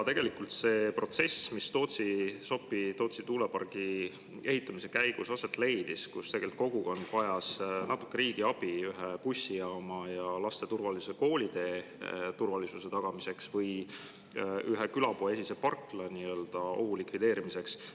Tegelikult selle protsessi käigus, mis Sopi-Tootsi tuulepargi ehitamisel aset leidis, vajas kogukond natukene riigi abi ühe bussijaama ja laste koolitee turvalisuse tagamiseks või ühes külapoe esises parklas ohu likvideerimiseks.